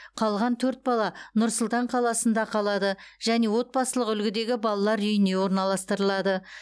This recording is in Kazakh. қалған төрт бала нұр сұлтан қаласында қалады және отбасылық үлгідегі балалар үйіне орналастырылады